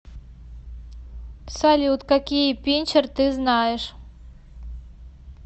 салют какие пинчер ты знаешь